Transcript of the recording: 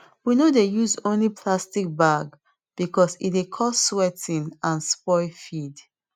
we no dey use only plastic bag because e dey cause sweating and spoil feed